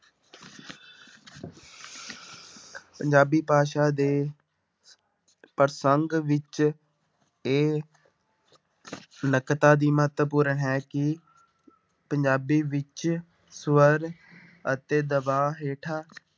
ਪੰਜਾਬੀ ਭਾਸ਼ਾ ਦੇ ਪ੍ਰਸੰਗ ਵਿੱਚ ਇਹ ਨਕਤਾ ਦੀ ਮਹੱਤਵਪੂਰਨ ਹੈ ਕਿ ਪੰਜਾਬੀ ਵਿੱਚ ਸਵਰ ਅਤੇ ਦਬਾਅ ਹੇਠਾਂ